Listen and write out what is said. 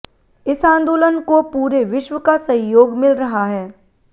इस आंदोलन को पूरे विश्व का सहयोग मिल रहा है